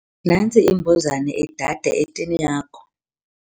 Nantsi imbuzane idada etini yakho.